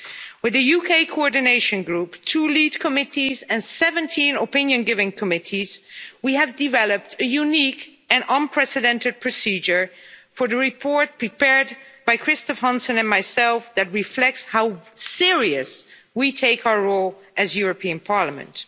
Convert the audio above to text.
With the UK Coordination Group, two lead committees and 17 opinion giving committees, we have developed a unique and unprecedented procedure for the report, prepared by Christophe Hansen and myself, that reflects how serious we take our role as the European Parliament.